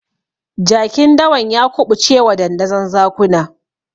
Jakin dawan ya kuɓucewa dandazon zakuna.